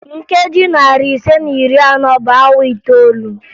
Nkeji narị ise na iri anọ bụ awa itoolu